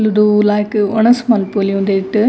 ಕುಲ್ಲ್ದು ಲಾಯ್ಕ್ ವನಸ್ ಮಲ್ಪೊಲಿ ಉಂದೆಟ್.